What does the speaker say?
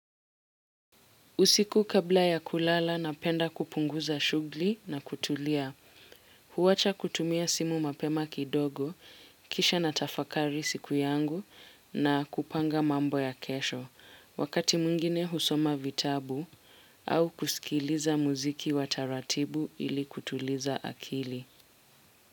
Usiku kabla ya kulala napenda kupunguza shugli na kutulia. Huwacha kutumia simu mapema kidogo, kisha natafakari siku yangu na kupanga mambo ya kesho. Wakati mwingine husoma vitabu au kusikiliza muziki wa taratibu ili kutuliza akili.